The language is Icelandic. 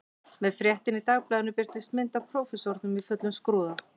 Með fréttinni í dagblaðinu birtist mynd af prófessornum í fullum skrúða